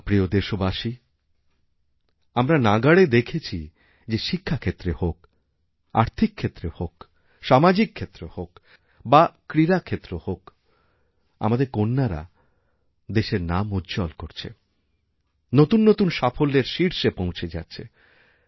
আমার প্রিয় দেশবাসী আমরা নিরন্তর দেখছি যে শিক্ষা ক্ষেত্রে হোক আর্থিক ক্ষেত্রহোক সামাজিক ক্ষেত্র হোক বা ক্রীড়াক্ষেত্র হোক আমাদের কন্যারা দেশের নামউজ্জ্বল করছে নতুন নতুন সাফল্যের শীর্ষে পৌঁছে যাচ্ছে